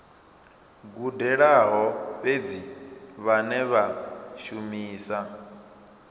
gudelaho fhedzi vhane vha shumisa